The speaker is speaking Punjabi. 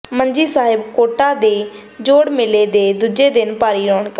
ਮੰਜੀ ਸਾਹਿਬ ਕੋਟਾਂ ਦੇ ਜੋੜ ਮੇਲੇ ਦੇ ਦੂਜੇ ਦਿਨ ਭਾਰੀ ਰੌਣਕਾਂ